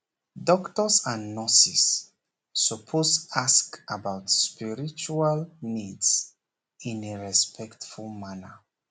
doctors and nurses suppose ask about spiritual needs in a respectful manner